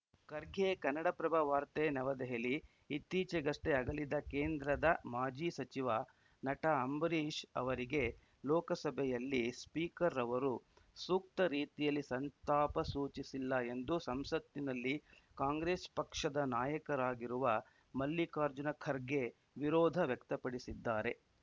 ಖರ್ಗೆ ಕನ್ನಡಪ್ರಭ ವಾರ್ತೆ ನವದೆಹಲಿ ಇತ್ತೀಚೆಗಷ್ಟೇ ಅಗಲಿದ ಕೇಂದ್ರದ ಮಾಜಿ ಸಚಿವ ನಟ ಅಂಬರೀಷ್‌ ಅವರಿಗೆ ಲೋಕಸಭೆಯಲ್ಲಿ ಸ್ಪೀಕರ್‌ ಅವರು ಸೂಕ್ತ ರೀತಿಯಲ್ಲಿ ಸಂತಾಪ ಸೂಚಿಸಿಲ್ಲ ಎಂದು ಸಂಸತ್ತಿನಲ್ಲಿ ಕಾಂಗ್ರೆಸ್‌ ಪಕ್ಷದ ನಾಯಕರಾಗಿರುವ ಮಲ್ಲಿಕಾರ್ಜುನ ಖರ್ಗೆ ವಿರೋಧ ವ್ಯಕ್ತಪಡಿಸಿದ್ದಾರೆ